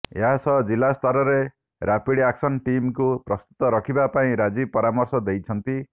ଏହାସହ ଜିଲ୍ଲା ସ୍ତରରେ ରାପିଡ୍ ଆକ୍ସନ ଟିମକୁ ପ୍ରସ୍ତୁତ ରଖିବା ପାଇଁ ରାଜୀବ ପରାମର୍ଶ ଦେଇଛନ୍ତି